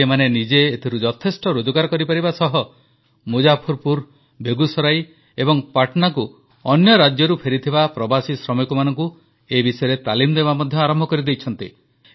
ଆଜି ଏମାନେ ନିଜେ ଏଥିରୁ ଯଥେଷ୍ଟ ରୋଜଗାର କରିପାରିବା ସହ ମୁଜାଫରପୁର ବେଗୁସରାଇ ଏବଂ ପାଟନାକୁ ଅନ୍ୟ ରାଜ୍ୟରୁ ଫେରିଥିବା ପ୍ରବାସୀ ଶ୍ରମିକମାନଙ୍କୁ ଏ ବିଷୟରେ ତାଲିମ ଦେବା ମଧ୍ୟ ଆରମ୍ଭ କରିଦେଇଛନ୍ତି